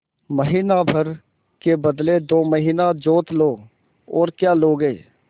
महीना भर के बदले दो महीना जोत लो और क्या लोगे